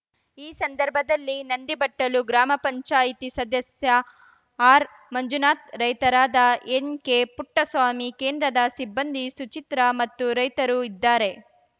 ಈ ಸಂದರ್ಭದಲ್ಲಿ ನಂದಿಬಟ್ಟಲು ಗ್ರಾಮ ಪಂಚಾಯ್ತಿ ಸದಸ್ಯ ಆರ್‌ ಮಂಜನಾಥ್‌ ರೈತರಾದ ಎನ್‌ಕೆಪುಟ್ಟಸ್ವಾಮಿ ಕೇಂದ್ರದ ಸಿಬ್ಬಂದಿ ಸುಚಿತ್ರಾ ಮತ್ತು ರೈತರು ಇದ್ದಾರೆ